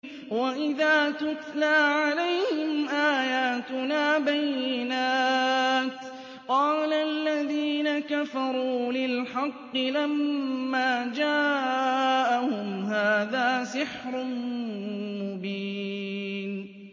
وَإِذَا تُتْلَىٰ عَلَيْهِمْ آيَاتُنَا بَيِّنَاتٍ قَالَ الَّذِينَ كَفَرُوا لِلْحَقِّ لَمَّا جَاءَهُمْ هَٰذَا سِحْرٌ مُّبِينٌ